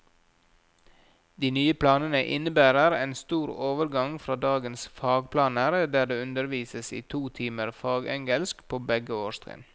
De nye planene innebærer en stor overgang fra dagens fagplaner, der det undervises i to timer fagengelsk på begge årstrinn.